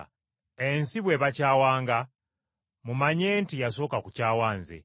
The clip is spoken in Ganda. “Ensi bw’ebakyawanga mumanye nti yasooka kukyawa nze.